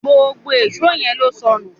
gbógbó Èṣó yén ló sọnù